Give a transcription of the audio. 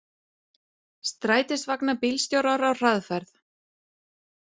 Strætisvagnabílstjórar á hraðferð